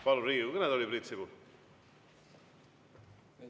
Palun Riigikogu kõnetooli, Priit Sibul!